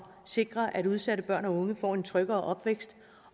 sikre at udsatte børn og unge får en tryggere opvækst